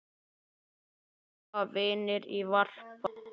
Þar bíða vinir í varpa.